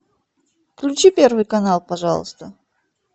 включи первый канал пожалуйста